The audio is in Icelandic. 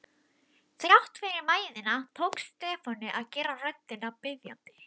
Þrátt fyrir mæðina tókst Stefáni að gera röddina biðjandi.